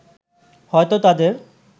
হয়তো তাদের